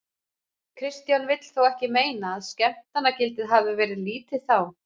Kristján vill þó ekki meina að skemmtanagildið hafið verið lítið þá.